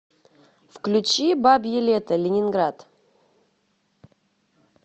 включи бабье лето ленинград